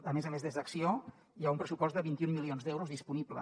a més a més des d’acció hi ha un pressupost de vint un milions d’euros disponible